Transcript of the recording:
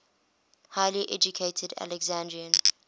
highly educated alexandrian